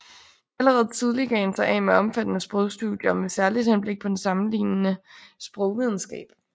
Allerede tidlig gav han sig af med omfattende sprogstudier med særligt henblik på den sammenlignende sprogvidenskab